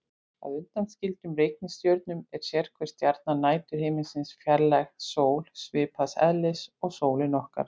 Að undanskildum reikistjörnunum er sérhver stjarna næturhiminsins fjarlæg sól, svipaðs eðlis og sólin okkar.